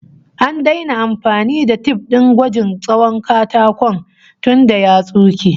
An daina amfani da tif din gwajin tsawon katakon tunda ya tsunke